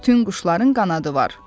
Bütün quşların qanadı var.